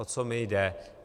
O co mi jde?